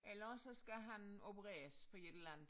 Eller også sså kal han opereres for et eller andet